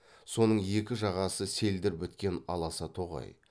соның екі жағасы селдір біткен аласа тоғай